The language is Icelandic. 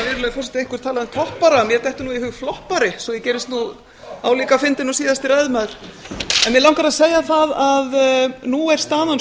forseti einhver talað um toppara mér dettur í hug floppari svo ég gerist álíka fyndin og síðasti ræðumaður mig langar að segja að nú er staðan